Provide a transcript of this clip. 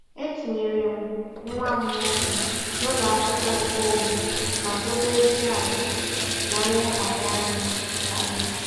E tinyere m nwa m nwoke n'ụlọ akwụkwọ nkeonwe maka obere klaasị na nlebara anya karịa.